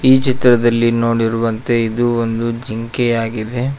ಈ ಚಿತ್ರದಲ್ಲಿ ನೋಡಿರುವಂತೆ ಇದು ಒಂದು ಜಿಂಕೆಯಾಗಿದೆ.